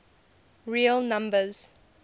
real numbers